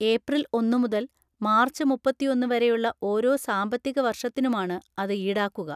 April ഒന്ന് മുതൽ March മുപ്പത്തിയൊന്ന് വരെയുള്ള ഓരോ സാമ്പത്തിക വർഷത്തിനുമാണ് അത് ഈടാക്കുക.